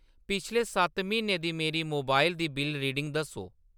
पिछले सत्त म्हीनें दी मेरी मोबाइल दी बिल्ल रीडिंग दस्सो।